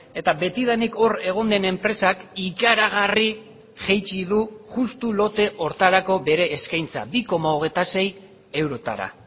eta betidanik hor egon den enpresak ikaragarri jaitsi du justu lote horretarako bere eskaintza bi koma hogeita sei eurotara